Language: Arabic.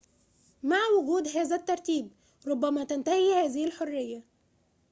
مع وجود هذا الترتيب ربما تنتهي هذه الحرية